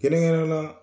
Kɛrɛnkɛrɛnnenya la